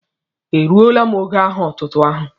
E rụ́ọ́la m ógó aha otútú áhù?